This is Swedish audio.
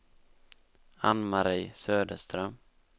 Ann-Mari Söderström